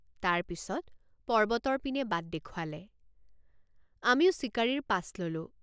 তাৰ পিচত পৰ্বতৰ পিনে বাট দেখুৱালে আমিও চিকাৰীৰ পাছ ললোঁ।